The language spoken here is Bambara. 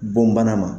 Bɔn bana ma